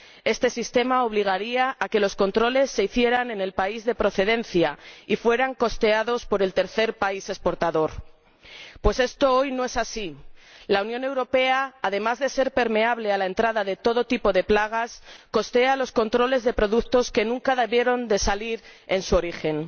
Este sistema obligaría a que los controles se hicieran en el país de procedencia y fueran costeados por el tercer país exportador, pues esto hoy no es así la Unión Europea, además de ser permeable a la entrada de todo tipo de plagas, costea los controles de productos que nunca debieron salir en su origen